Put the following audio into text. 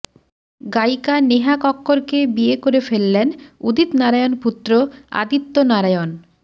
গায়িকা নেহা কক্করকে বিয়ে করে ফেললেন উদিত নারায়ণ পুত্র আদিত্য নারায়ণ